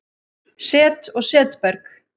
Set og setberg